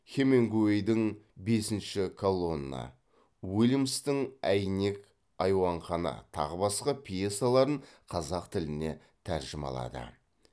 хемингуэйдің бесінші колонна уильямстың әйнек айуанхана тағы басқа пьесаларын қазақ тіліне тәржімалады